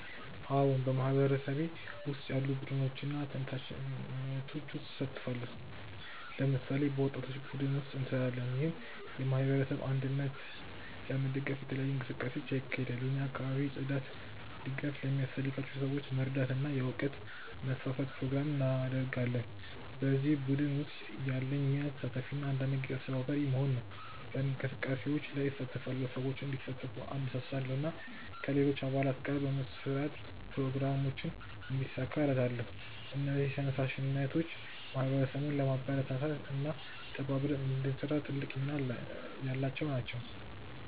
አዎን፣ በማህበረሰቤ ውስጥ ያሉ ቡድኖችና ተነሳሽነቶች ውስጥ እሳተፋለሁ። ለምሳሌ፣ በወጣቶች ቡድን ውስጥ እንሰራለን፣ ይህም የማህበረሰብ እድገትን ለመደገፍ የተለያዩ እንቅስቃሴዎችን ያካሂዳል። እኛ የአካባቢ ጽዳት፣ ድጋፍ ለሚያስፈልጋቸው ሰዎች መርዳት እና የእውቀት ማስፋፋት ፕሮግራሞችን እናደርጋለን። በዚህ ቡድን ውስጥ ያለኝ ሚና ተሳታፊ እና አንዳንድ ጊዜ አስተባባሪ መሆን ነው። በእንቅስቃሴዎች ላይ እሳተፋለሁ፣ ሰዎችን እንዲሳተፉ እነሳሳለሁ እና ከሌሎች አባላት ጋር በመስራት ፕሮግራሞችን እንዲሳካ እረዳለሁ። እነዚህ ተነሳሽነቶች ማህበረሰቡን ለማበረታታት እና ተባብረን እንድንሰራ ትልቅ ሚና ያላቸው ናቸው።